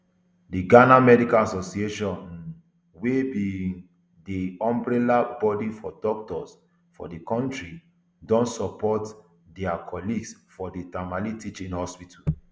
di ghana medical association um wey be um di umbrella body for doctors for di kontri don support dia colleagues for di tamale teaching hospital